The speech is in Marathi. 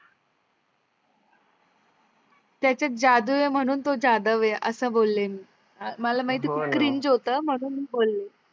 त्याचात जादू आहे म्हणून तो जाधव आहे आस बोलले मी. मला माहीत आहे खूप म्हणून बोले